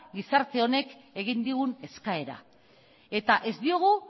gizarte honek egin digun eskaera eta ez diogu